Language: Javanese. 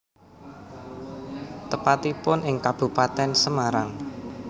Tepatipun ing Kabupaten Semarang